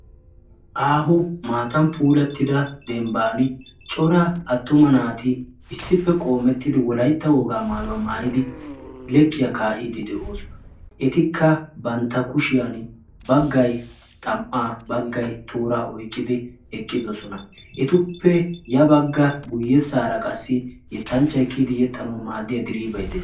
Aaho maatan puulettida dembban coraa attuma naati issippe qoomettidi wolaitta wogaa maayuwaa maayidi lekkiyaa kaa"iidi de'oosona. etikka bantta kushiyan baggay xam"aa baggay tooraa oyqqidi eqqidosona. etuppe ya bagga guyyessaara qassi yettanchcha ekkiyidi yexxanau maaddiya diriiphay de'es.